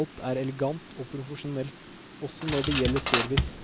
alt er elegant og profesjonelt, også når det gjelder service.